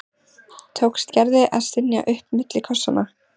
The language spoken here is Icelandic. tókst Gerði að stynja upp milli kossanna.